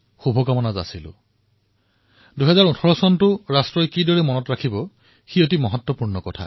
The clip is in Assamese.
২০১৮ক ভাৰতক এনে এক দেশৰ ৰূপত আমাৰ এশ ত্ৰিশ কোটি জনতাৰ সামৰ্থৰ ৰূপত কিদৰে মনত ৰাখিব এয়া স্মৰণ কৰাও অধিক গুৰুত্বপূৰ্ণ